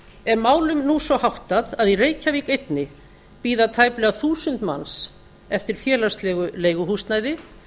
er málum nú svo háttað að í reykjavík einni bíða tæplega þúsund manns eftir félagslegu leiguhúsnæði